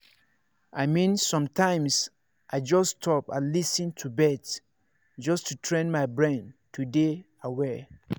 i mean sometimes i just stop and lis ten to birds just to train my brain to dey aware.